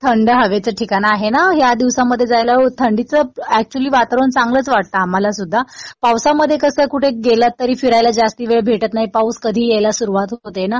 हो हो. तिकडेही थंड हवेचं ठिकाण आहे ना. या दिवसामध्ये जायला थंडीचं एक्चुअली वातावरण चांगलंच वाटतं आम्हाला सुद्धा. पावसामध्ये कसं कुठे गेलात तरी फिरायला जास्त वेळ भेटत नाही. पाऊस कधीही यायला सुरवात होते ना.